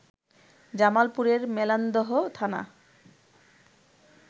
জামালপুরের মেলান্দহ থানা